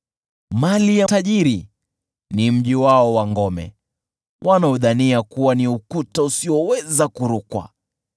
Mali ya tajiri ni mji wake wenye ngome, wanaudhania kuwa ukuta usioweza kurukwa.